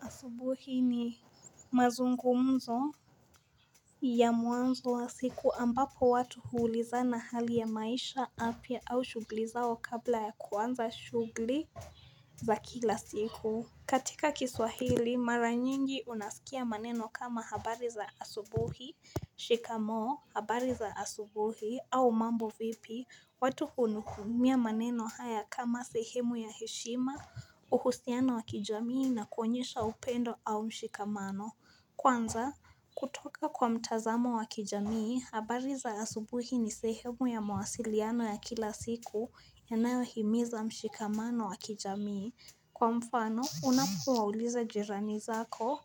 Asubuhi ni mazungumzo ya mwanzo wa siku, ambapo watu huulizana hali ya maisha apia au shughli zao kabla ya kuanza shughli za kila siku. Katika kiswahili, mara nyingi unasikia maneno kama habari za asubuhi, shikamoo, habari za asubuhi, au mambo vipi, watu hunukumia maneno haya kama sehemu ya heshima, uhusiano wa kijamii na kuonyesha upendo au mshikamano. Kwanza, kutoka kwa mtazamo wa kijamii, habari za asubuhi ni sehemu ya mawasiliano ya kila siku yanayo himiza mshikamano wa kijamii. Kwa mfano unapuwauliza jirani zako,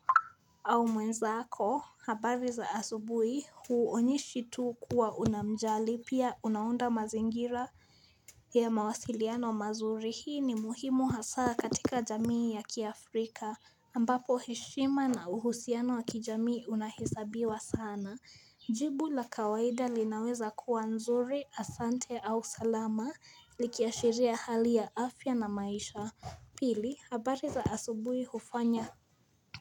au mwenzako habari za asubui huonyeshi tu kuwa unamjali, pia unaunda mazingira ya mawasiliano mazuri, hii ni muhimu hasaa katika jamii ya kiafrika ambapo heshima na uhusiano wa kijamii unahisabiwa sana. Jibu la kawaida linaweza kuwa nzuri, asante au salama likiashiria hali ya afya na maisha Pili, habari za asubuhi, hufanya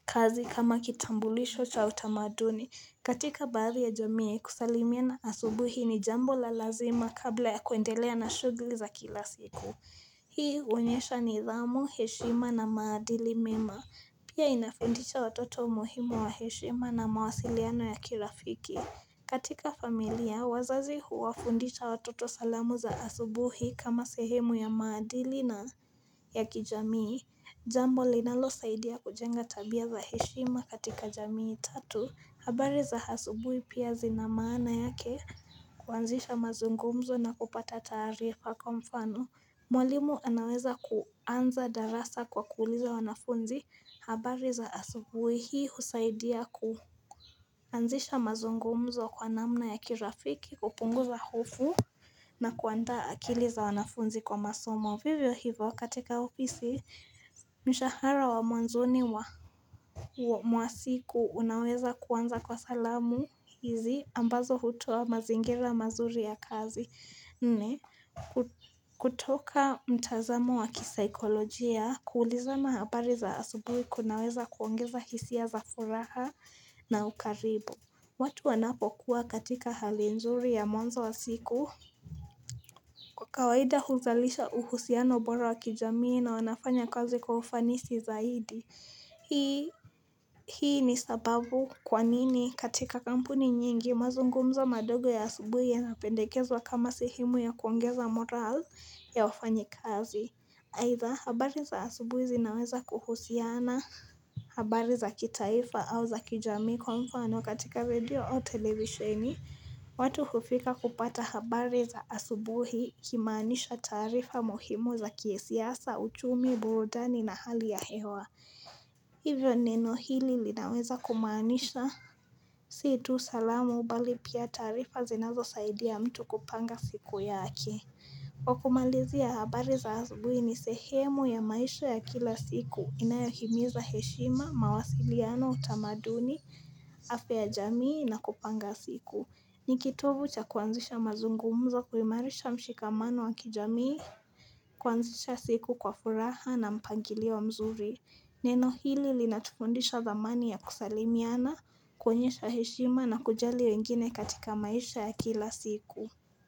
kazi kama kitambulisho cha utamaduni katika baadhi ya jamii, kusalimia na asubuhi ni jambo la lazima kabla ya kuendelea na shughli za kila siku. Hii huonyesha nidhamu, heshima na maadili mema Pia inafundisha watoto umuhimu wa heshima na mawasiliano ya kirafiki. Katika familia, wazazi huwafundisha watoto salamu za asubuhi kama sehemu ya maadili na ya kijamii Jambo linalo saidia kujenga tabia za heshima katika jamii tatu. Habari za asubuhi pia zinamaana yake kwanzisha mazungumzo na kupata taarifa kwa mfano Mwalimu anaweza kuanza darasa kwa kuuliza wanafunzi, habari za asubuhi? Hii husaidia kuanzisha mazungumzo kwa namna ya kirafiki, kupunguza hofu na kuandaa akili za wanafunzi kwa masomo. Vivyo hivyo katika ofisi, mishahara wa mwanzoni mwa mwasiku unaweza kuanza kwa salamu hizi ambazo hutoa mazingira mazuri ya kazi. Nne, kutoka mtazamo wa kisikolojia, kuulizana habari za asubuhi kunaweza kuongeza hisia za furaha na ukaribu. Watu wanapo kuwa katika hali nzuri ya mwanzo wa siku kawaida huzalisha uhusiano bora wa kijamii na wanafanya kazi kwa ufanisi zaidi Hii ni sababu kwa nini katika kampuni nyingi, mazungumzo madogo ya asubuhi yanapendekezwa kama sehemu ya kuongeza moral, ya wafanyikazi, aidha habari za asubuhi zinaweza kuhusiana, habari za kitaifa au za kijamii kwa mfano, katika redio au televisheni watu hufika kupata habari za asubuhi, kimaanisha taarifa muhimu za kisiasa, uchumi, burudani na hali ya hewa Hivyo neno hili linaweza kumaanisha si tu salamu mbali pia taarifa zinazosaidia ya mtu kupanga siku yake. Kwa kumalizia habari za asubuhi ni sehemu ya maisha ya kila siku, inayohimiza heshima, mawasiliano, utamaduni, afya ya jamii na kupanga siku. N ikitovu cha kuanzisha mazungumzo, kuimarisha mshikamano wa kijamii, kuanzisha siku kwa furaha na mpangilio mzuri. Neno hili linatufundisha dhamani ya kusalimiana, kuonyesha heshima na kujali wengine katika maisha ya kila siku.